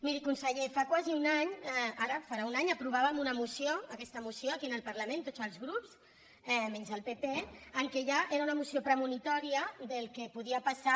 miri conseller fa quasi un any ara farà un any aprovàvem una moció aquesta moció aquí en el parlament tots els grups menys el pp que ja era una moció premonitòria del que podia passar